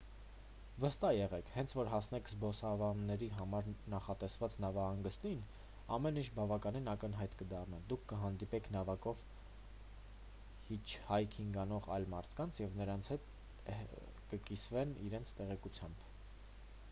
վստահ եղեք հենց որ հասնեք զբոսանավերի համար նախատեսված նավահանգստին ամեն ինչ բավականին ակնհայտ կդառնա դուք կհանդիպեք նավակով հիթչհայքինգ անող այլ մարդկանց և նրանք ձեզ հետ կկիսվեն իրենց տեղեկությամբ